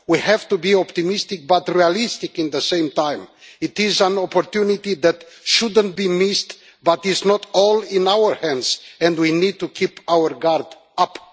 We have to be optimistic but realistic at the same time. It is an opportunity that should not be missed, but it is not all in our hands and we need to keep our guard up.